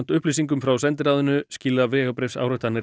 upplýsingum frá sendiráðinu skila vegabréfsáritanirnar